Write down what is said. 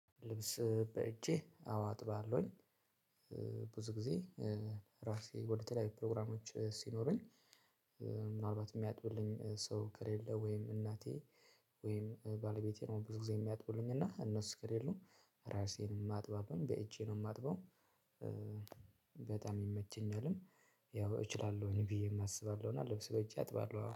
ልብስ በእጄ አዎ አጥባለሁኝ። ብዙ ጊዜ ራሴ ወደተለያዩ ፕሮግራሞች ሲኖሩኝ ምናልባት የሚያጥቡልኝ ሰው ከሌለ ወይም እናቴ ወይም ባለቤቴ ነው። ብዙ ጊዜ የሚያጥቡልኝ እና እነሱ ከሌሉ ራሴን ማጥበው በእጄ ነው የማጥበው። በጣም ይመቸኛልም። ያው እችላለሁኝ ብዬም አስባለሁ እና ልብስ በእጄ አጥባለሁ አዎ